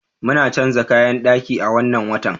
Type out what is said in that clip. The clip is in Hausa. Muna canza kayan daki a wannan watan.